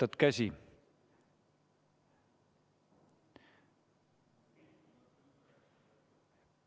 Laiutad käsi ...